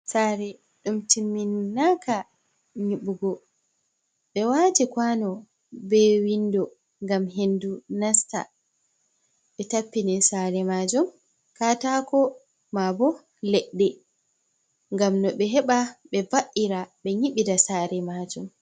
Saare ɗum timminnaka nyibugo, ɓe wati kwano be windo ngam hendu nasta, be tappini saare majum katako ma bo leɗɗe ngam no ɓe heɓa be va’ira ɓe nyibida saare. majum